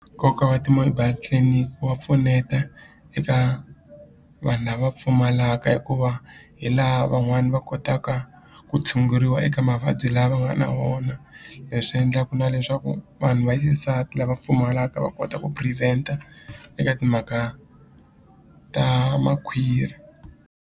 Nkoka wa ti-mobile clinic wa pfuneta eka vanhu lava pfumalaka hikuva hi laha van'wani va kotaka ku tshunguriwa eka mavabyi la va nga na wona leswi endlaku na leswaku vanhu va xisati lava pfumalaka va kota ku prevent-a eka timhaka ta makhwiri.